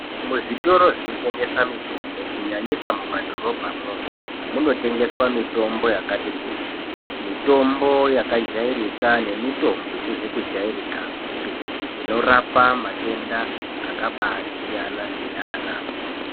Muzvitoro zvinotengesa mitombo kunyanyisa mumadhorobhamwo munotengeswa mitombo yakati kuti mitombo yakajairika nemitombo isizi kujairikapi inorapa matenda akabaasiyana siyana.